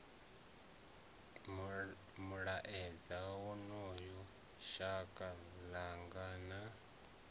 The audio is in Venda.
mulaedza wonoyo shaka ḽanga na